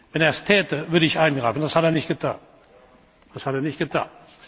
Wenn er es täte, würde ich eingreifen. Das hat er nicht getan.